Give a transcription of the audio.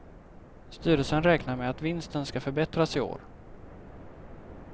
Styrelsen räknar med att vinsten ska förbättras i år.